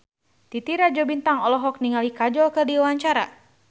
Titi Rajo Bintang olohok ningali Kajol keur diwawancara